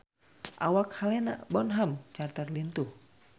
Awak Helena Bonham Carter lintuh